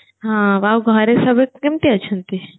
ହଁ ଆଉ ଘରେ ସବୁ କେମିତେ ଅଛନ୍ତି